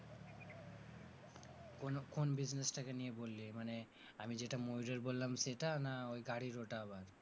কোন কোন business টাকে নিয়ে বললি, মানে আমি যেটা ময়ূরের বললাম সেটা না ওই গাড়ির ওটা আবার?